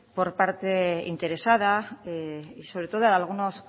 por parte interesada y sobre todo de algunas